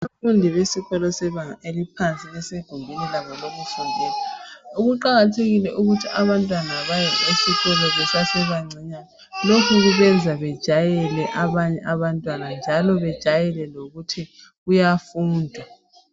Abafundi bebanga eliphansi basegumbini labo lokufundela. Kuqakathekile ukuthi abantwana baye esikolo besasebangeni elincinyane, lokhu kubenza bejayele abanye abantwana njalo bejayele lokuthi kuyafundwa.